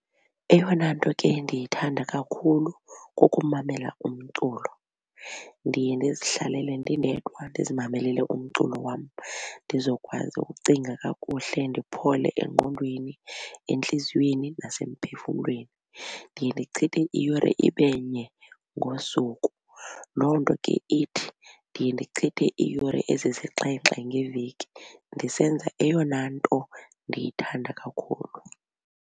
Eyona nto ke ndiyithanda kakhulu kukumamela umculo. Ndiye ndizihlalele ndindedwa ndizimamelele umculo wam ndizokwazi ukucinga kakuhle ndiphole engqondweni entliziyweni nasemphefumlweni. Ndiye ndichithe iyure ibenye ngosuku loo nto ke ithi ndiye ndichithe iiyure ezisixhenxe ngeveki ndisenza eyona nto ndiyithanda kakhulu.